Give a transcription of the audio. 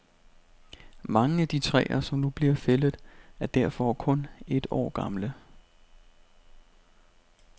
Mange af de træer, som nu bliver fældet, er derfor kun et år gamle.